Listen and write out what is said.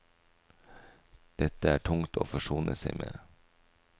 Dette er tungt å forsone seg med.